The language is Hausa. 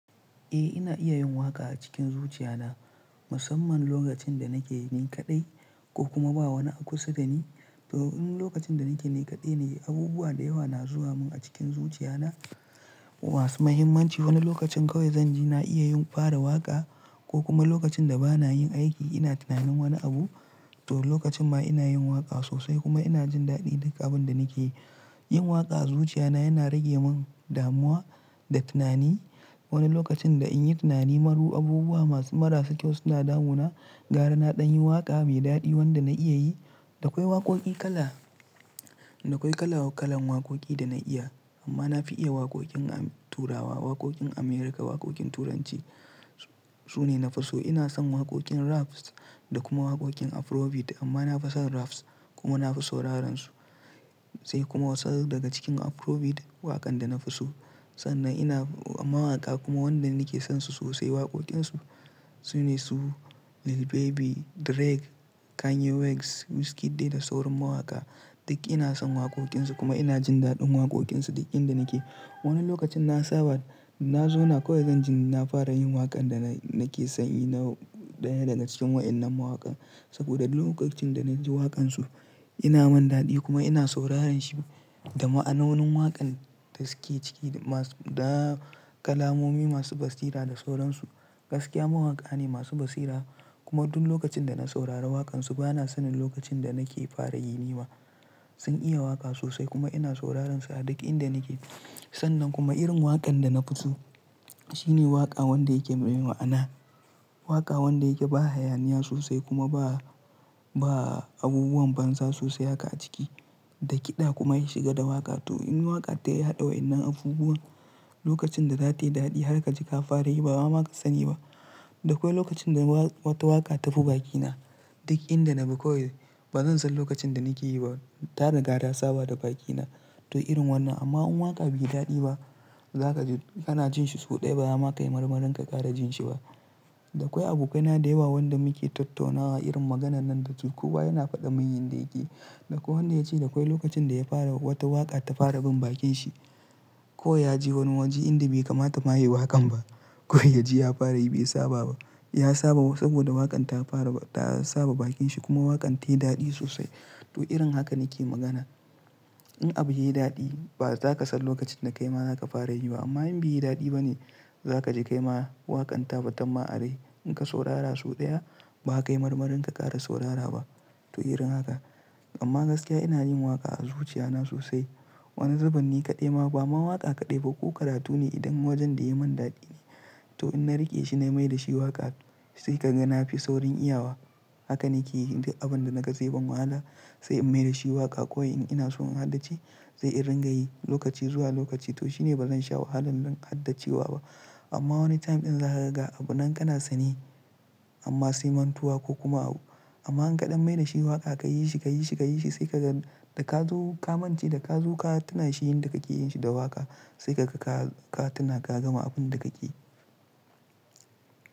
Eh ina iya yin waƙa a cikin zuciya na musamman lokacin da nake ni kaɗai ko kuma ba wani a kusa da ni. To in lokacin da nake ni kaɗai ne abubuwa da yawa na zuwa mun a cikin zuciya na masu muhimmanci. Wani lokacin kawai zan ji na iya yin fara waƙa ko kuma lokacin da bana yin aiki ina tunanin wani abu. To lokacin ma ina yin waƙa sosai kuma ina jin daɗin duk abin da nake yi. Yin waƙa a zuciya na yana rage mun damuwa da tunani. Wani lokacin da in yi tunani maru abubuwa masu marasa kyau suna damu na, gara na ɗan yin waƙa mai daɗi wanda na iya yi. Da akwai waƙoƙi kala, da akwai kala waƙalan waƙoƙi da na iya amma na fi iya waƙoƙin Turawa, waƙoƙin America, waƙoƙin Turanci. Su ne na fi so. Ina son waƙoƙin raps da kuma waƙoƙin Afrobeat amma na fi son raps kuma na fi sauraran su. Sai kuma wasu daga cikin Afrobeat waƙan da na fi so. Sannan ina mawaka kuma wanda nake son su sosai waƙoƙin su. Su ne su Lil Baby, Drake, Kanye West, Wizkid da sauran mawaka. Duk ina son waƙoƙin su kuma ina jin daɗin waƙoƙin su duk inda nake. Wani lokacin na saba, na zo na kawai zan ji na fara yin waƙan da nake son yi na ɗaya daga cikin waɗannan mawakan. Saboda lokacin da na ji waƙan su ina man daɗi kuma ina sauraran shi da ma'ananun waƙan da suke ciki da kalamomi masu basira da sauran su. Gaskiya mawaka ne masu basira kuma duk lokacin da na saurara waƙan su bana sanin lokacin da nake fara yi ne ma. Sun iya waka sosai kuma ina sauraransu a duk inda nake sannan kuma irin wakar dana fi so shine waka wanda yake mai ma'ana ne irin haka ai hayaniya sosai kuma ba abubuwa da kiɗa kuma ya shiga da waƙa. To in waka ta hada wannan abubuwan lokacin da zatayi dadi har kaji ka fara yi bama zaka sani ba da kwai lokacin da wata waka tabi bakina duk inda nabi bazan san ma ina yi ba ta riga ta saba da bakina. To irin wannan amma waƙa bai daɗi ba zaka ji kana jin shi sau ɗaya ba ya maka yi marmarin ka ƙara jin shi ba. Da akwai abokaina da yawa wanda muke tattaunawa irin maganan nan da su. Kowa yana faɗa mun yin da yake. Da ko wanda ya ce da akwai lokacin da ya fara wata waƙa ta fara bin bakin shi. Ko ya ji wani waji inda bai kamata ma ya yi waƙan ba. Ko ya ji ya fara yi bai saba ba. Ya saba saboda waƙan ta fara ta saba bakin shi kuma waƙan tayi daɗi sosai. To irin haka nake magana. In abu yayi daɗi ba zaka san lokacin da kaima zaka fara yi ba amma in bai yi daɗi bane za ka ji kaima waƙan ta ba ta ma'anar yi. In ka saurara sau ɗaya ba ka yi marmarin ka ƙara saurara ba. To irin haka. Amma gaskiya ina yin waƙa a zuciya na sosai. Wani zaban ne kaɗai ma ba mawaka kaɗai ba ko karatu ne idan wajen da ya mun daɗi ne. To in na riƙe shi na mai da shi waƙa sai ka ga na fi saurin iyawa. Haka nake yi abin da na ga sai ban wahala sai in mai da shi waƙa ko in ina so in haddace sai in ringa yi lokaci zuwa lokaci. To shine bazan sha wahalan haddacewa ba. Amma wani time ɗin za ka riga abu nan kana sani amma sai mantuwa ko kuma abu. Amma in kaɗan mai da shi waƙa ka yi shi, ka yi shi, ka yi shi sai ka ga da ka zo ka mance da ka zo ka tuna shi yin da kake yin shi da waƙa sai ka ga ka tuna ka gama abun da kake yi.